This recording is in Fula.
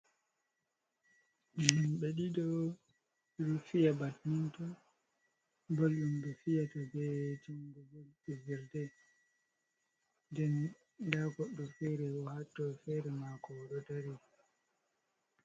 Himɓe ɗiɗo ɗo fiya batminton bal ɗum be fiya ta be jungo, bal jelde den da goddo fere ɗo hatto fere mako odo dari.